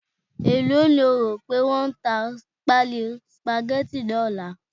e lo ni o rope won ta pálí spaghetti ni ọlá